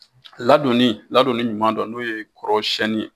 Ladonni ladonni ɲuman dɔn n'o ye kɔrɔsiyɛnni ye